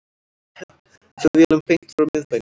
Flugvélum beint frá miðbænum